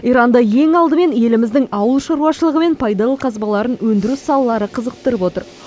иранды ең алдымен еліміздің ауыл шаруашылығы мен пайдалы қазбаларын өндіру салалары қызықтырып отыр